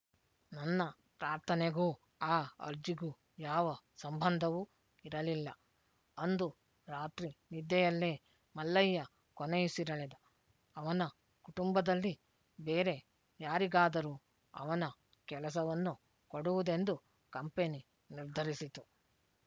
ನನ್ನ ಪ್ರಾರ್ಥನೆಗೂ ಆ ಅರ್ಜಿಗೂ ಯಾವ ಸಂಬಂಧವೂ ಇರಲಿಲ್ಲ ಅಂದು ರಾತ್ರಿ ನಿದ್ದೆಯಲ್ಲೇ ಮಲ್ಲಯ್ಯ ಕೊನೆಯುಸಿರೆಳೆದ ಅವನ ಕುಟುಂಬದಲ್ಲಿ ಬೇರೆ ಯಾರಿಗಾದರೂ ಅವನ ಕೆಲಸವನ್ನು ಕೊಡುವುದೆಂದು ಕಂಪೆನಿ ನಿರ್ಧರಿಸಿತು